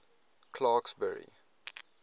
clarksburry